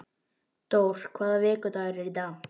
Dór, hvaða vikudagur er í dag?